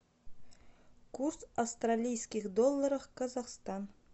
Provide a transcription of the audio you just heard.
курс австралийских долларов казахстан